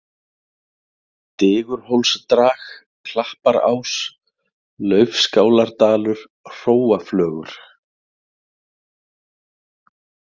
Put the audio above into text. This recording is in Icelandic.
Digurhólsdrag, Klapparás, Laufskáladalur, Hróaflögur